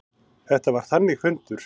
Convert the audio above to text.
Þetta var þannig fundur.